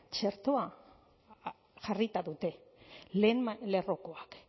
txertoa jarrita dute lehen lerrokoak